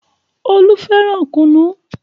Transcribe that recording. Olú fẹ́ràn kùnú.